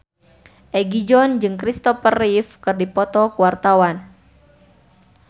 Egi John jeung Christopher Reeve keur dipoto ku wartawan